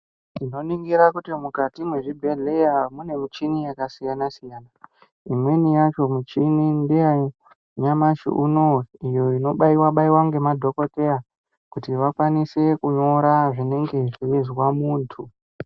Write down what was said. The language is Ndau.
Tinoningira kuti mukati mwezvibhehleya mune muchini yakasiyana-siyana. Imweni yacho muchini ndeyanyamashi uno iyo inobaiwa-baiwa ngemadhokodheya kuti vakwanise kunyora zvinenge zveizwa muntu.